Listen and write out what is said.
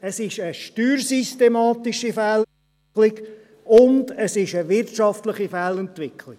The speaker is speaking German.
– Es ist eine steuersystematische Fehlentwicklung und es ist eine wirtschaftliche Fehlentwicklung.